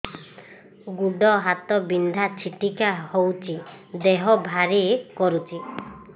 ଗୁଡ଼ ହାତ ବିନ୍ଧା ଛିଟିକା ହଉଚି ଦେହ ଭାରି କରୁଚି